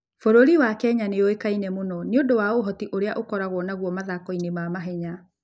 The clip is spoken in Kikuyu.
Bũrũri wa Kenya nĩ ũĩkaine mũno nĩ ũndũ wa ũhoti ũrĩa ũkoragwo naguo mathako-inĩ ma mahenya.